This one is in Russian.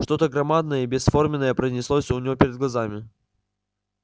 что то громадное и бесформенное пронеслось у него перед глазами